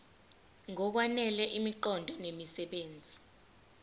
ngokwanele imiqondo nemisebenzi